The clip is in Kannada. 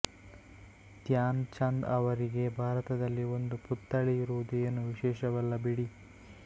ಧ್ಯಾನ್ ಚಂದ್ ಅವರಿಗೆ ಭಾರತದಲ್ಲಿ ಒಂದು ಪುತ್ಥಳಿ ಇರುವುದು ಏನೂ ವಿಶೇಷವಲ್ಲ ಬಿಡಿ